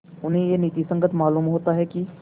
उन्हें यह नीति संगत मालूम होता है कि